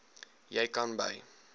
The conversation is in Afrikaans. jy kan by